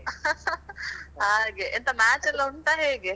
ಹಾಗೆ ಎಂತ match ಎಲ್ಲ ಉಂಟಾ ಹೇಗೆ?